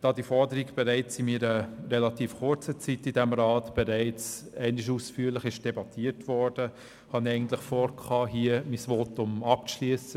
Da diese Forderung in meiner relativ kurzen Zeit in diesem Rat bereits einmal ausführlich debattiert wurde, hatte ich eigentlich vor, mein Votum hier abzuschliessen.